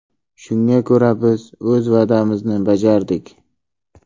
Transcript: Shunga ko‘ra, biz o‘z va’damizni bajardik.